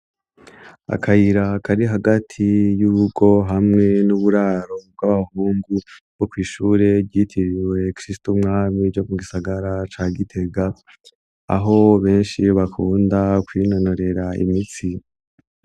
Akayira kari hagati y'urugo hamwe n'uburaro bw'abahungu bwo kw'ishure ryitiriwe Kristu Mwami yo mu gisagara ca Gitega, aho benshi bakunda kwinonorera imitsi.